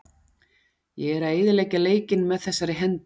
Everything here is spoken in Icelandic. Ég er að eyðileggja leikinn með þessari hendi.